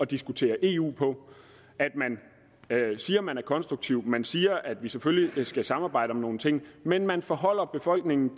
diskutere eu på man siger man er konstruktiv man siger at vi selvfølgelig skal samarbejde om nogle ting men man foreholder befolkningen